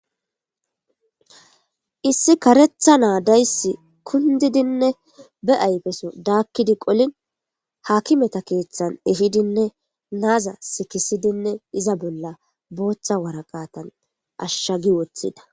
Issi karetha naadayss kundidinne be ayfeso daakkidi qolin hakimeta keeththan ihidinne naaza sikisidinne iza bolla booththa waraqatan ashshagi woththida.